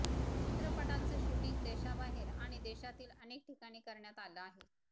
चित्रपटाचं शूटिंग देशाबाहेर आणि देशातील अनेक ठिकाणी करण्यात आलं आहे